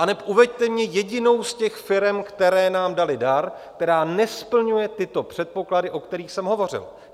Aneb uveďte mi jedinou z těch firem, které nám daly dar, která nesplňuje tyto předpoklady, o kterých jsem hovořil.